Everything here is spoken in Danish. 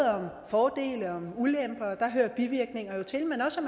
fordele og ulemper og der hører bivirkninger jo til men også at